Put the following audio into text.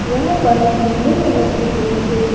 यहां पर नीले कलर के बोर्ड पे--